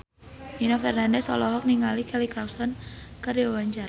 Nino Fernandez olohok ningali Kelly Clarkson keur diwawancara